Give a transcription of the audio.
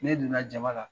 Ne donna jama la